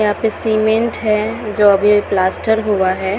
यहाँ पे सीमेंट है जो अभी प्लास्टर हुआ है।